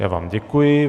Já vám děkuji.